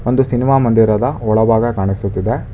ಒಂದು ಸಿನಿಮಾ ಮಂದಿರದ ಒಳಭಾಗ ಕಾಣಿಸುತ್ತಿದೆ.